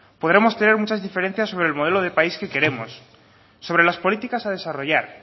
podremos tener muchas diferencias sobre el modelo de país que queremos sobre las políticas a desarrollar